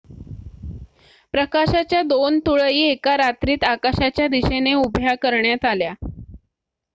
प्रकाशाच्या दोन तुळई एका रात्रीत आकाशाच्या दिशेने उभ्या करण्यात आल्या